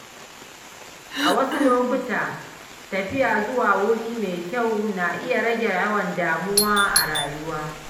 A wasu lokuta, tafiya zuwa wuri mai kyau na iya rage yawan damuwa a rayuwa.